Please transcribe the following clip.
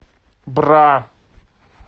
бра